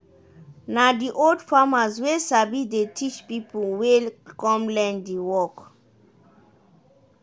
na di old farmers wey sabi dey teach pipo wey come learn di work.